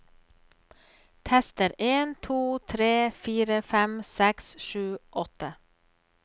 Tester en to tre fire fem seks sju åtte